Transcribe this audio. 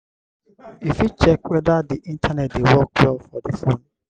you fit check weda di internet dey work well for the phone